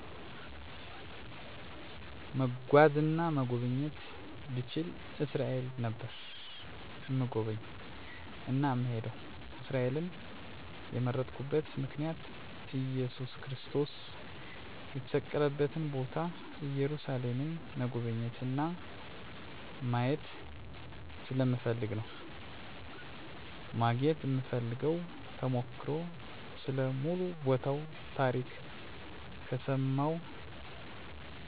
መጓዝ እና መጎብኘት ብችል እስራኤል ነበር እምጎበኝ እና እምሄደዉ። እስራኤልን የመረጥኩበት ምክንያት እየሱስ ክርስቶስ የተሰቀለበትን ቦታ ኢየሩሳሌምን መጎብኘት እና ማየት ስለምፈልግ ነዉ። ማግኘት እምፈልገዉ ተሞክሮ ስለ ሙሉ ቦታዉ ታሪክ ከምሰማዉ እና ከማነበዉ ይልቅ በአካል አይቸዉ ማወቅ እፈልጋለሁ እና በቦታዉ ስድስት ቤተክርሰቲያኖች ገዳሞች አሉ ስለነሱም ማወቅ እፈልጋለሁ። በጥቅሉ ቦታዉ ጋ ስላለዉ ነገር ሁሉ እዉቀት (ተሞክሮ ) እንዲኖረኝ እፈልጋለሁ።